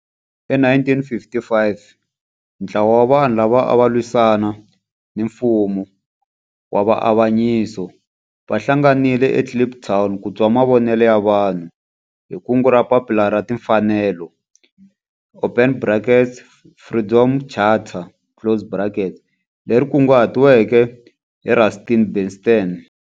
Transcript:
Hi 1955 ntlawa wa vanhu lava ava lwisana na nfumo wa avanyiso va hlanganile eKliptown ku twa mavonelo ya vanhu hi kungu ra Papila ra Timfanelo open brackets, Freedom Charter, closed brackets leri kunguhatiweke hi Rusty Bernstein.